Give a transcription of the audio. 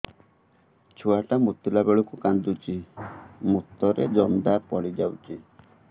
ଛୁଆ ଟା ମୁତିଲା ବେଳକୁ କାନ୍ଦୁଚି ମୁତ ରେ ଜନ୍ଦା ପଡ଼ି ଯାଉଛି